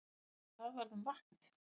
En hvað varð um vatnið?